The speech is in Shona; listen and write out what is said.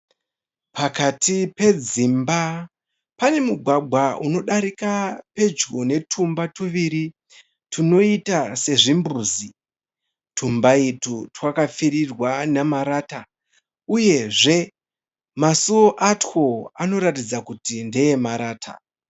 Pakati pedzimba pane mugwagwa unodarika pedyo netumba tuviri tunoita sezvimbuzi. Tumba utu wakapfirirwa nemarata uyezve masuo atwo anoratidza kuti ndeemarata.